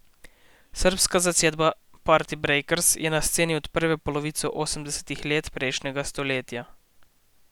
Srbska zasedba Partibrejkers je na sceni od prve polovice osemdesetih let prejšnjega stoletja.